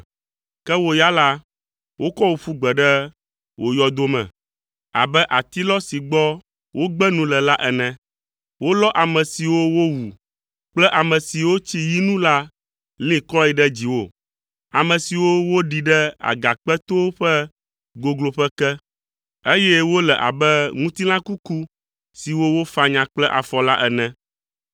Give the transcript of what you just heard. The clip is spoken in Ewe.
Ke wo ya la, wokɔ wò ƒu gbe ɖe wò yɔdo me abe atilɔ si gbɔ wogbe nu le la ene. Wolɔ ame siwo wowu kple ame siwo tsi yi nu la li kɔe ɖe dziwò, ame siwo woɖi ɖe agakpetowo ƒe gogloƒe ke, eye wole abe ŋutilã kuku siwo wofanya kple afɔ la ene.